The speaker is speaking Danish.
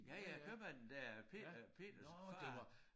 Ja ja købmanden der Peter Peters far